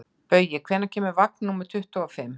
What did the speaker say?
Baui, hvenær kemur vagn númer tuttugu og fimm?